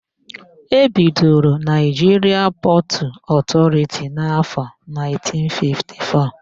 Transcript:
E bidoro Naịjiria Pọtụ Ọtọriti n'áfọ̀ 1954.